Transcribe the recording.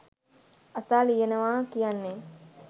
අසා ලියනවා කියන්නේ